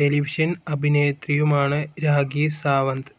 Television അഭിനേത്രിയുമാണ് രാഖി സാവന്ത്.